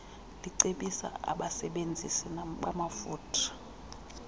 licebisa abasebenzisi bamafutha